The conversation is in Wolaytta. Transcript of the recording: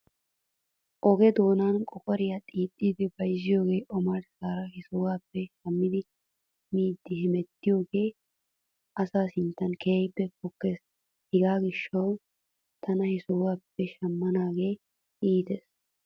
Oge doonan qoqqoriyaa xiixxidi bayzziyoogee omarssaara he sohuwaappe shammidi miiddi hemettiyoogee asa sinttan keehippe pokkes. Hegaa gishshaw tana he sohuwaappe shamanaagee iites.